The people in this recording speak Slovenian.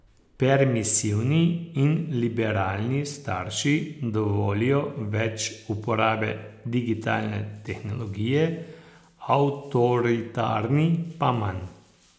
Permisivni in liberalni starši dovolijo več uporabe digitalne tehnologije, avtoritarni pa manj.